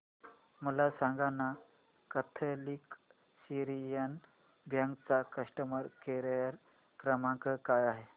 मला सांगाना Catholic Syrian Bank चा कस्टमर केअर क्रमांक काय आहे